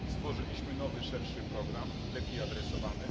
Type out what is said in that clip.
Stworzyliśmy nowy szerszy program, lepiej adresowany.